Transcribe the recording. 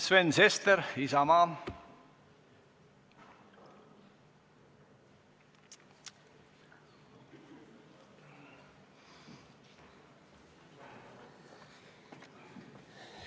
Sven Sester, Isamaa.